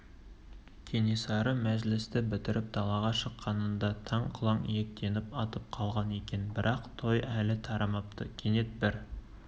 кенесары мәжілісті бітіріп далаға шыққанында таң құланиектеніп атып қалған екен бірақ той әлі тарамапты кенет бір